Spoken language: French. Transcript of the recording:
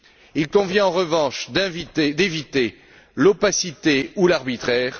Il convient en revanche d'éviter l'opacité ou l'arbitraire.